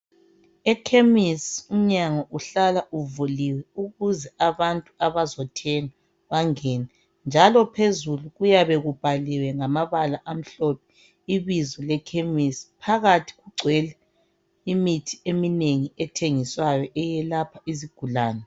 Ekhemisi umnyango uhlala uvuliwe ukuze abantu abazothenga bangene, njalo phezulu kuyabe kubhaliwe ngamabala amhlophe ibizo le khemisi, phakathi kugcwele imithi eminengi ethengiswayo eyelapha izigulani.